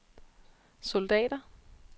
soldater